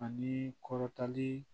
Ani kɔrɔtali